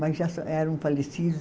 Mas já são, eram falecidos.